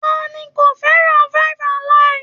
Ta ni kò fẹ́ràn 5-alive?